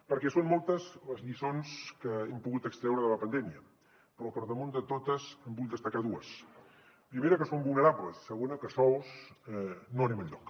perquè són moltes les lliçons que hem pogut extreure de la pandèmia però per damunt de totes en vull destacar dues primera que som vulnerables i segona que sols no anem enlloc